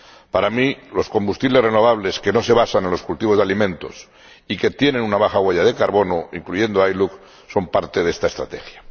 Para mí, los combustibles renovables que no se basan en los cultivos de alimentos y que tienen una baja huella de carbono, incluyendo el ILUC, son parte de esta estrategia.